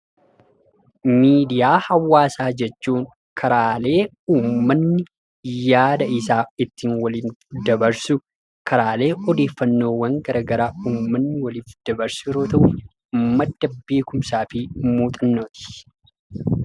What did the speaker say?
Miidiyaa hawaasaa jechuun karaalee uumatni yaada isaa ittiin walii dabarsu, karaalee odeeffannoowwan gara garaa uummanni waliif dabarsu yeroo ta'u, madda beekumsaa fi muuxannooti.